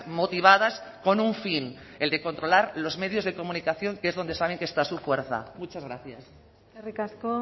motivadas con un fin el de controlar los medios de comunicación que es donde saben que está su fuerza muchas gracias eskerrik asko